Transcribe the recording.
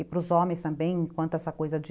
E para os homens também, enquanto essa coisa de...